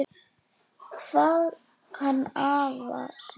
Kvað hann afa sinn, Jón